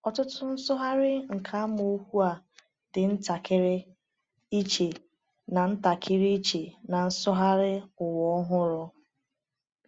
Ọtụtụ nsụgharị nke amaokwu a dị ntakịrị iche na ntakịrị iche na Nsụgharị Ụwa Ọhụrụ.